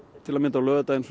til að mynda á laugardaginn